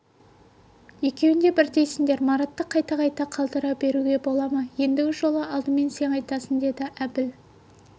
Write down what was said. екеуің де бірдейсіңдер маратты қайта-қайта қалдыра беруге бола ма ендігі жолы алдымен сен айтасың деді әбіл